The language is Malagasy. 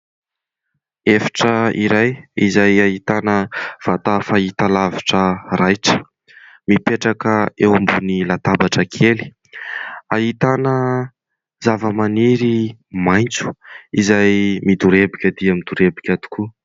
Efitra iray izay ahitana vata fahitalavitra raitra mipetraka eo ambony latabatra kely, ahitana zavamaniry maitso izay midorebika dia midorebika tokoa.